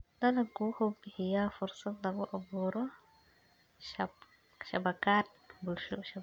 Dalaggu wuxuu bixiyaa fursad lagu abuuro shabakad bulsho.